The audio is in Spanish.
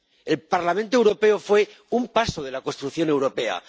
El Parlamento Europeo fue un paso de la construcción europea.